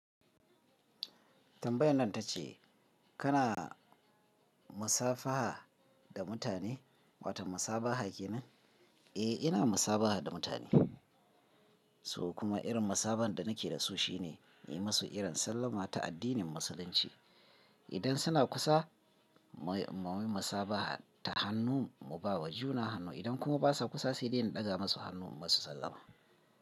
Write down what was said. Tambayan nan ta ce kana musafaha da mutane, wato musabaha ke nan? Eh ina musabaha da mutane, so kuma irin musaban da nake da su shi ne, nayi musu irin sallama ta addinin musulunci. Idan suna kusa mu yi musabaha ta hannu, mu ba wa juna hannu, idan kuma basa kusa sai dai in ɗaga musu hannu in musu sallama.